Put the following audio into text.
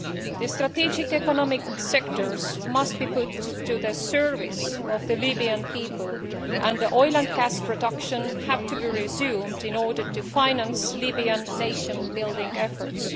The strategic economic sectors must be put to the service of the Libyan people, and oil and gas production have to be resumed in order to finance Libyan nation building efforts.